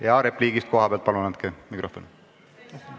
Jaa, repliigiks kohalt andke palun mikrofon.